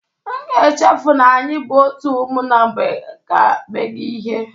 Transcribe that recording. M ga echefu na anyị bụ otu ụmụnna mgbe ga eme gị ihe